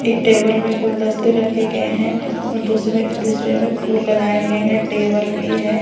एक टेबल में गुलदस्ते रखे गए हैं और दूसमें-दूसरे में फूल लगाए गए हैं टेबल भी है।